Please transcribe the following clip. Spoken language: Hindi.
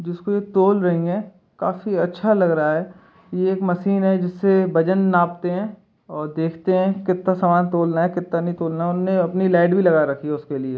जिस पर तोल रहे हैं काफी अच्छा लग रहा है ये एक मशीन है जिससे वजन नापते हैं और देखते हैं कितना सामान तोलना है कितना नहीं तोलना उनने अपनी लाइट भी लगा रखी है उसके लिए।